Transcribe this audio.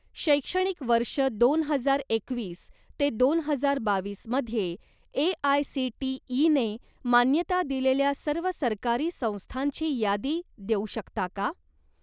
शैक्षणिक वर्ष दोन हजार एकवीस ते दोन हजार बावीसमध्ये ए.आय.सी.टी.ई. ने मान्यता दिलेल्या सर्व सरकारी संस्थांची यादी देऊ शकता का?